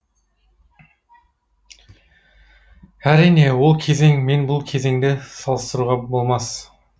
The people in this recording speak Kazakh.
әрине ол кезең мен бұл кезеңді салыстыруға болмас